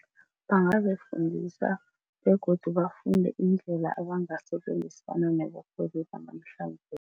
Bangazifundisa begodu bafunde indlela abangasebenzisana nabarholi banamhlanje.